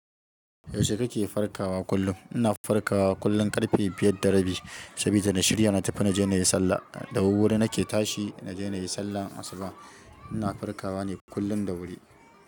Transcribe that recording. Yaushe kake farkawa kullum? Ina farkawa kullum ƙarfe biyar da rabi, saboda da shirya na tafi na je na yi sallah. Da wuri nake tashi na je na yi sallar asuba. Ina farkawa ne kullum da wuri.